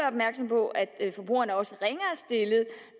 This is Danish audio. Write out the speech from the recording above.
opmærksom på at forbrugeren også